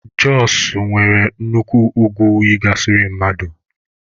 Jọsụ nwere nnukwu ugwu yigasịrị mmadụ